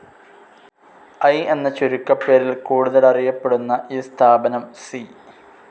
I എന്ന ചുരുക്കപ്പേരിൽ കൂടുതലറിയപ്പെടുന്ന ഈ സ്ഥാപനം സി.